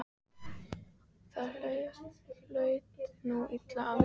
Það hlutu nú allir að viðurkenna.